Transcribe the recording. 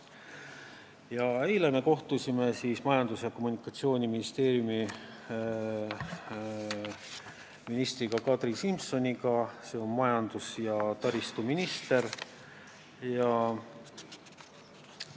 Ja eile me kohtusime Majandus- ja Kommunikatsiooniministeeriumi ministriga, majandus- ja taristuminister Kadri Simsoniga.